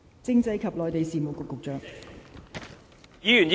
政制及內地事務局局長。